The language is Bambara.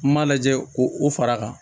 N m'a lajɛ ko o far'a kan